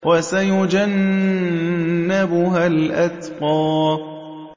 وَسَيُجَنَّبُهَا الْأَتْقَى